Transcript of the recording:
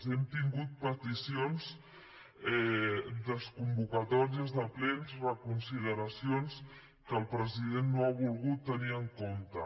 hem tingut peticions desconvocatòries de plens reconsideracions que el president no ha volgut tenir en compte